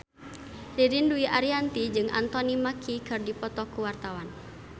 Ririn Dwi Ariyanti jeung Anthony Mackie keur dipoto ku wartawan